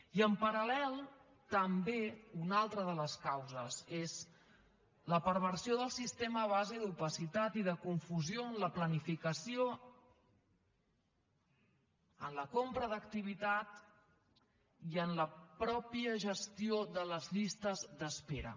i en paral·lel també una altra de les causes és la perversió del sistema a base d’opacitat i de confusió en la planificació en la compra d’activitat i en la mateixa gestió de les llistes d’espera